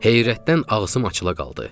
Heyrətdən ağzım açıla qaldı.